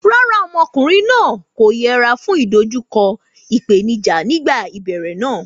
Rárá, ọmọkùnrin náà kò yẹra fún ìdojúkọ ìpèníjà nígbà ìbẹ̀rẹ̀ rẹ̀.